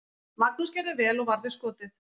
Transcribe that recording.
Magnús gerði vel og varði skotið.